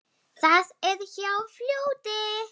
Það er hjá fljóti.